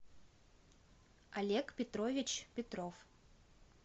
олег петрович петров